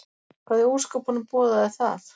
Hvað í ósköpunum boðaði það?